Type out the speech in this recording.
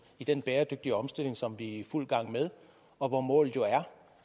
i den bæredygtige omstilling som vi er i fuld gang med og hvor målet jo er